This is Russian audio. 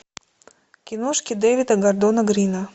киношки дэвида гордона грина